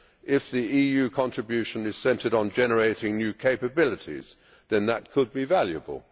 If the EU contribution is centred on generating new capabilities, then that could be valuable.